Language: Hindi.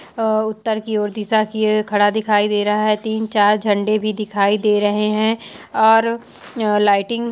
अ उतर की और दिशा की और खड़ा दिखाई दे रहा है तीन-चार झंडे भी दिखाई दे रहे है और लाइटिंग --